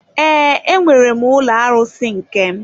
Ee, enwere m ụlọ arụsị nke m.